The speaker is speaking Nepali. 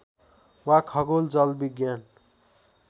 वा खगोल जलविज्ञान